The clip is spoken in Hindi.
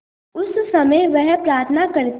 उस समय वह प्रार्थना करती